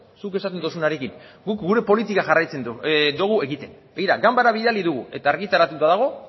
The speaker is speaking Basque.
zuk esaten duzunarekin guk gure politika jarraitzen dugu egiten begira ganbarara bidali dugu eta argitaratuta dago